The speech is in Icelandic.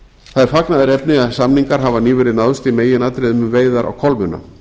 það er fagnaðarefni að samningar hafa nýverið náðst í meginatriðum um veiðar á kolmunna